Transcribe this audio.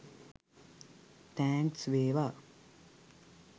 Thanks වේවා.